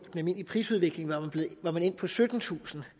den almindelige prisudvikling var man endt på syttentusind